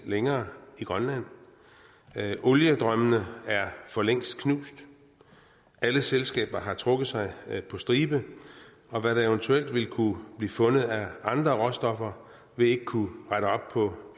længere i grønland oliedrømmene er for længst knust alle selskaber har trukket sig på stribe og hvad der eventuelt ville kunne blive fundet af andre råstoffer vil ikke kunne rette op på